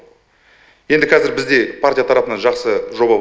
енді қазір бізде партия тарапынан жақсы жоба